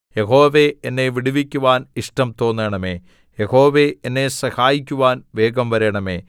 യഹോവേ എന്നെ വിടുവിക്കുവാൻ ഇഷ്ടം തോന്നണമേ യഹോവേ എന്നെ സഹായിക്കുവാൻ വേഗം വരണമേ